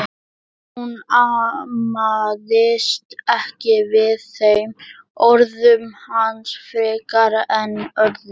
Hún amaðist ekki við þeim orðum hans frekar en öðrum.